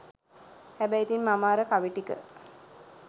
හැබැයි ඉතින් මම අර කවි ටික